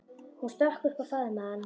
Hún stökk upp og faðmaði hann.